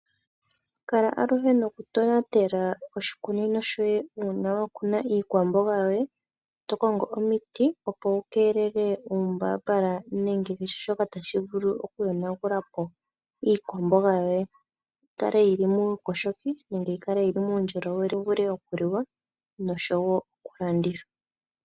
Kala aluhe noku tonatela oshikunino shoye uuna wakuna iikwamboga yoye. Tokongo omiti nenge kehe shoka tashi vulu oku kèelela iipuka numbambala mbono tayi vulu oku yonagulapo iikwamboga yoye. Opo yi kale muukoshoki noshowo muundjolowele yi vule okuliwa nokulandithwa.